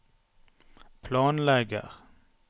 planlegger